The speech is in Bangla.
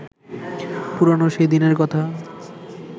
পুরানো সেই দিনের কথা